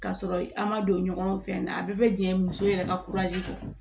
Ka sɔrɔ an ma don ɲɔgɔn fɛ na a bɛɛ bɛ jɛ muso yɛrɛ ka kɔ